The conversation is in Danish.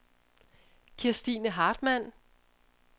Kirstine Hartmann